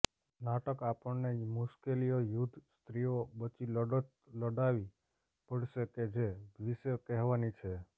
નાટક આપણને મુશ્કેલીઓ યુદ્ધ સ્ત્રીઓ બચી લડત લડવી પડશે કે જે વિશે કહેવાની છે